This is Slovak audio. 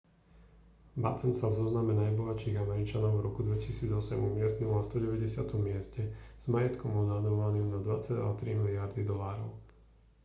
batten sa v zozname najbohatších američanov v roku 2008 umiestnil na 190. mieste s majetkom odhadovaným na 2,3 miliardy dolárov